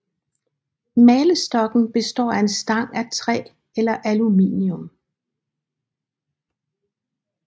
Malestokken består af en stang af træ eller aluminium